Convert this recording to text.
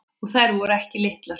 Og voru þær ekki litlar.